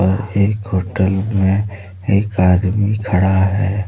और एक होटल में एक आदमी खड़ा है।